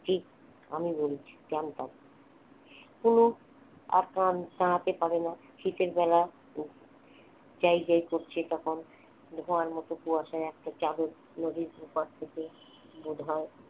ঠিক আমি বলছি জানতাম অনু আর দাঁড়াতে পারে না শীতের বেলা যায় যায় করছে তখন ধোয়ার মতো কুয়াশার একটা চাদর নদীর ওপার থেকে বোধহয়